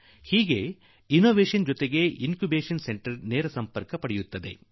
ಅದೇ ರೀತಿ ಅನ್ವೇಷಣೆಯೊಂದಿಗೆ ನೇರವಾಗಿ ಇನ್ ಕ್ಯೂಬೇಷನ್ ಸೆಂಟರ್ ಸಂಬಂಧ ಹೊಂದಲಿದೆ